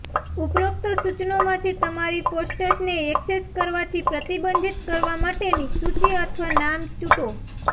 ઉપરોક્ત સૂચનોમાંથી તમારી પોસ્ટ્સને ઍક્સેસ કરવાથી પ્રતિબંધિત કરવા માટેની સૂચિ અથવા નામ ચૂંટો